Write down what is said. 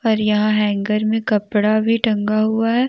पर यहा हेंगर मे कपड़ा भी टंगा हुआ है।